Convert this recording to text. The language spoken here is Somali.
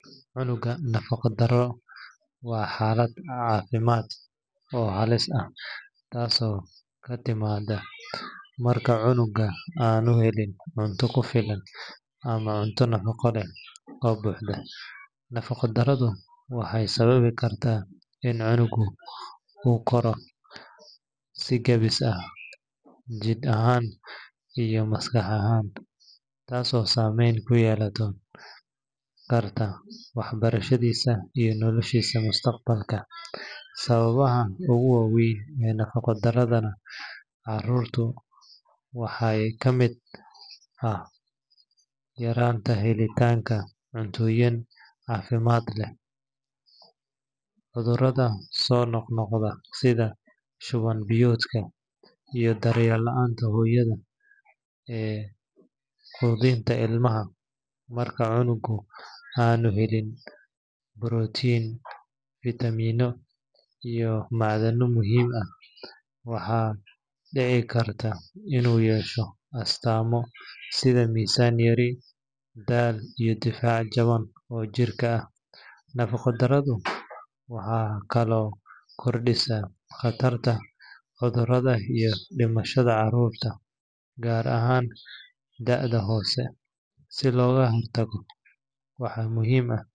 Cunugga nafaqo-darradu waa xaalad caafimaad oo halis ah taasoo ka timaadda marka cunuggu aanu helin cunto ku filan ama cunto nafaqo leh oo buuxda. Nafaqo-darradu waxay sababi kartaa in cunuggu ku koro si gaabis ah, jidh ahaan iyo maskax ahaanba, taasoo saameyn ku yeelan karta waxbarashadiisa iyo noloshiisa mustaqbalka. Sababaha ugu waaweyn ee nafaqo-darrada carruurta waxaa ka mid ah yaraanta helitaanka cuntooyin caafimaad leh, cudurrada soo noqnoqda sida shuban-biyoodka, iyo daryeel la’aanta hooyada ee quudinta ilmaha. Marka cunuggu aanu helin borotiin, fiitamiinno, iyo macdano muhiim ah, waxaa dhici karta inuu yeesho astaamo sida miisaan yari, daal, iyo difaac jaban oo jirka ah. Nafaqo-darridu waxay kaloo kordhisaa khatarta cudurada iyo dhimashada carruurta, gaar ahaan da’da hoose. Si looga hortago, waxaa muhiim ah.